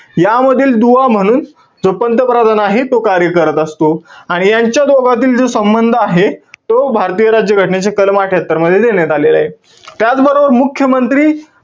यामधील दुवा म्हणून जो पंतप्रधान आहे तो कार्य करत असतो. आणि यांच्या दोघातील, जो संबंध आहे तो भारतीय राज्य घटनेच्या कलम अठ्ठयात्तर मध्ये देण्यात आलेला आहे. त्याचबरोबर मुख्यमंत्री,